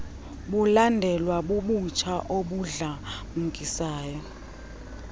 bulandelwa bubutsha obudlamkisayo